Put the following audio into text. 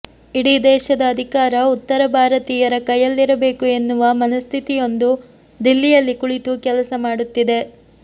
ಇಡೀ ದೇಶದ ಅಧಿಕಾರ ಉತ್ತರ ಭಾರತೀಯರ ಕೈಯಲ್ಲಿರಬೇಕು ಎನ್ನುವ ಮನಸ್ಥಿತಿಯೊಂದು ದಿಲ್ಲಿಯಲ್ಲಿ ಕುಳಿತು ಕೆಲಸ ಮಾಡುತ್ತಿದೆ